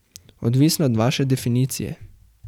Odvisno od vaše definicije.